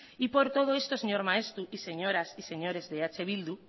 y por todo esto señor maeztu y señoras y señores de eh bildu